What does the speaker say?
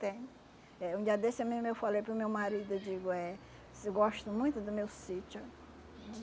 Tenho. Eh um dia desse mesmo eu falei para o meu marido, eu digo, eh gosto muito do meu sítio.